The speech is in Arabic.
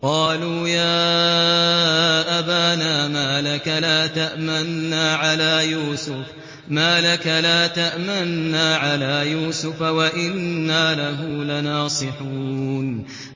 قَالُوا يَا أَبَانَا مَا لَكَ لَا تَأْمَنَّا عَلَىٰ يُوسُفَ وَإِنَّا لَهُ لَنَاصِحُونَ